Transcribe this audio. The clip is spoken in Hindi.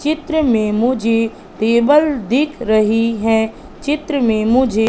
चित्र में मुझे टेबल दिख रही है चित्र में मुझे--